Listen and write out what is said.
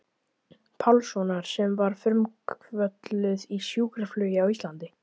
Pálssonar sem var frumkvöðull í sjúkraflugi á Íslandi.